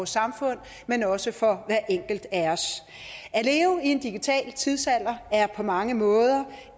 samfund men også for hver enkelt af os at en digital tidsalder er på mange måder